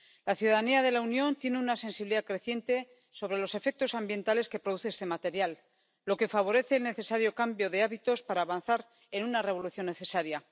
La ciudadanía de la Unión tiene una sensibilidad creciente sobre los efectos ambientales que produce este material, lo que favorece el necesario cambio de hábitos para avanzar en una revolución necesaria.